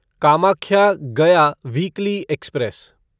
Kamakhya Gaya weekly express